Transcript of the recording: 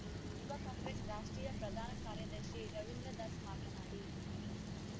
ಯುವ ಕಾಂಗ್ರೆಸ್‌ ರಾಷ್ಟ್ರೀಯ ಪ್ರಧಾನ ಕಾರ್ಯದರ್ಶಿ ರವೀಂದ್ರದಾಸ್‌ ಮಾತನಾಡಿ